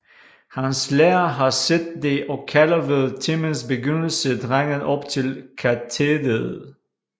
Hans lærer har set det og kalder ved timens begyndelse drengen op til katederet